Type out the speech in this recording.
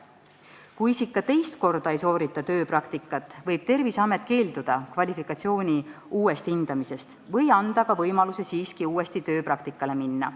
Kui isik ka teist korda ei soorita tööpraktikat, võib Terviseamet keelduda kvalifikatsiooni uuesti hindamisest või anda ka võimaluse siiski uuesti tööpraktikale minna.